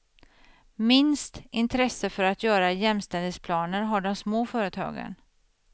Minst intresse för att göra jämställdhetsplaner har de små företagen.